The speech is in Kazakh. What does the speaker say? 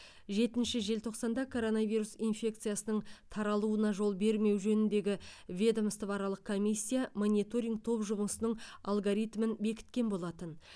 жетінші желтоқсанда коронавирус инфекциясының таралуына жол бермеу жөніндегі ведомствоаралық комиссия мониторинг топ жұмысының алгоритмін бекіткен болатын